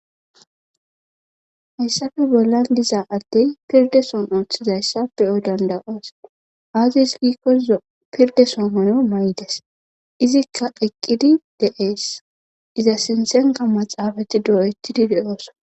hayssafe bollan diza addey pirde son ooththizayssa peyo dandaos aazes giikko z pirde somono may7des izikka eqqidi deees iza sinthenka maxaafati doo7ettidi de7ooso